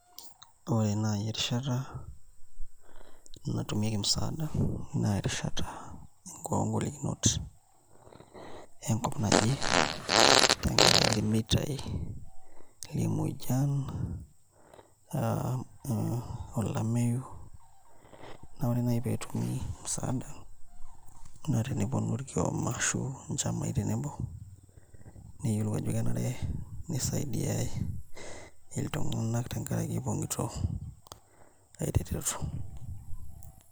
Ore naai erishata natumieki musaada naa erishata oongolikinot enkop naje tenakaraki irmeitaai emuoyian, olameyu naa ore naai pee etumi musaada naa teneponu irkioma ashu onchamai tenebo neyiolou ajo kenare nisaidiae iltung'anak tenkaraki epong'ito ereteto.